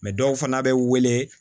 dɔw fana bɛ wele